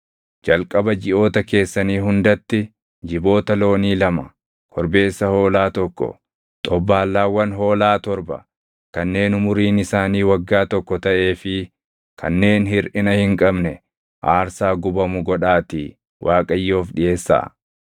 “ ‘Jalqaba jiʼoota keessanii hundatti jiboota loonii lama, korbeessa hoolaa tokko, xobbaallaawwan hoolaa torba kanneen umuriin isaanii waggaa tokko taʼee fi kanneen hirʼina hin qabne aarsaa gubamu godhaatii Waaqayyoof dhiʼeessaa.